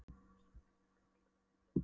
Svo át hún líka fullt af brauði í gildrunni.